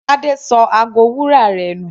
Tade ṣọ ago wúrà rẹ̀ nù.